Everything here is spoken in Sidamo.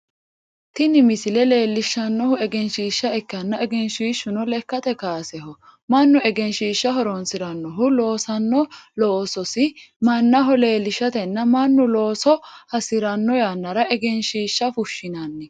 Tini misile leelishanohu egenshiisha ikkanna egenshishuno lekate kaaseho Manu egenshiisha horoonsiranohu loosano loososi mannaho leelishatenna Manu looso hasirano yannara egenshiisha fushinnanni.